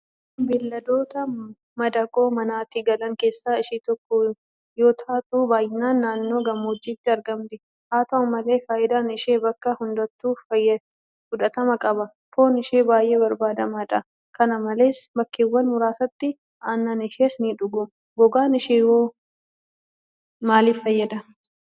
Re'een beelladoota madaqoo manatti galan keessaa ishee tokko yootaatu; baay'inaan naannoo gammoojjiitti argamti. Haata'u malee faayidaan ishee bakka hundattuu fudhatama qaba. Foon ishee baay'ee barbaadamaadha. Kana malees bakkeewwan muraasatti aannan ishees nidhugama. Gogaan isheewoo maaliif fayyada?